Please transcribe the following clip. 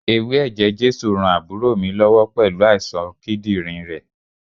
Ewé ẹ̀jẹ̀ Jésù ran àbúrò mi lọ́wọ́ pẹ̀lú àìsàn kídírìn rẹ̀.